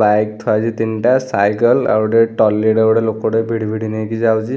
Bike ଥୁଆହେଇଛି ତିନି ଟା ସାଇକେଲ ଆଉ ଗୋଟେ ଟ୍ରଲିଟେ ଗୋଟେ ଲୋକଟେ ଭିଡି ଭିଡି ନେଇକି ଯାଉଛି ।